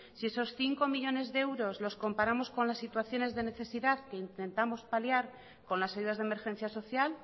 si esos cinco millónes de euros los comparamos con las situaciones de necesidad que intentamos paliar con las ayudas de emergencias social